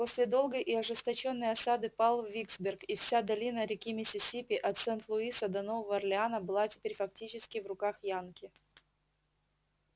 после долгой и ожесточённой осады пал виксберг и вся долина реки миссисипи от сент-луиса до нового орлеана была теперь фактически в руках янки